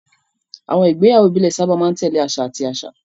Àwọn ìgbéyàwó ìbílẹ̀ sábà máa ń tẹ̀lé àṣà àti àṣà.